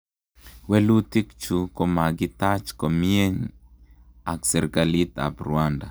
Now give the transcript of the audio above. Welutik chu komakitach komieny ak serkalit ap Rwanda